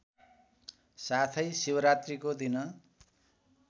साथै शिवरात्रीको दिन